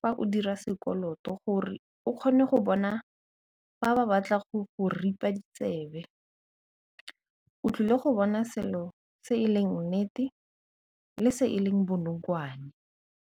fa o dira sekoloto gore o kgone go bona ba ba batla go go ripa ditsebe, o tlile go bona selo se e leng nnete le se e leng bonokwane.